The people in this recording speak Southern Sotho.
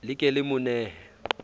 le ke le mo nehe